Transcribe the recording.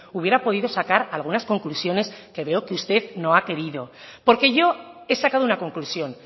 hubiera podido sacar algunas conclusiones que veo que usted no ha querido porque yo he sacado una conclusión